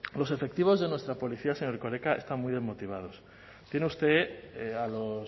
los efectivos de nuestra policía señor erkoreka están muy desmotivados tiene usted a los